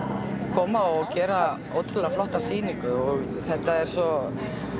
koma og gera ótrúlega flotta sýningu þetta er svo